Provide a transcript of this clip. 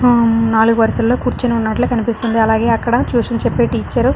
నాలుగు వరుసల్లో కూర్చొని ఉన్నట్లు కనిపిస్తుంది అలాగే అక్కడ ట్యుషన్ చెప్పే టీచరు --